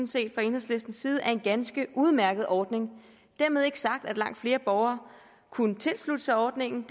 set fra enhedslistens side er en ganske udmærket ordning dermed ikke sagt at ikke langt flere borgere kunne tilslutte sig ordningen